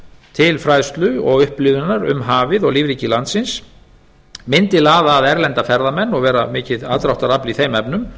til fræðslu og upplifunar um hafið og lífríki landsins mundi laða að erlenda ferðamenn og verða mikið aðdráttarafl í þeim efnum